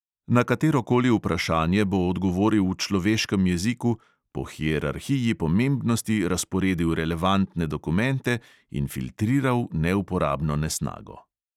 Na katerokoli vprašanje bo odgovoril v človeškem jeziku, po hierarhiji pomembnosti razporedil relevantne dokumente in filtriral neuporabno nesnago.